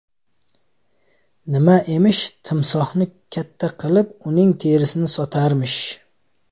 Nima emish, timsohni katta qilib, uning terisini sotarmish.